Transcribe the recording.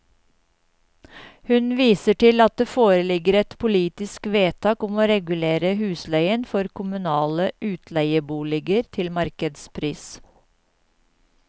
Hun viser til at det foreligger et politisk vedtak om å regulere husleien for kommunale utleieboliger til markedspris.